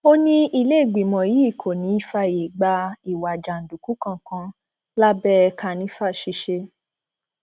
ó ní iléìgbìmọ yìí kò ní í fààyè gba ìwà jàǹdùkú kankan lábẹ kànìfà ṣiṣẹ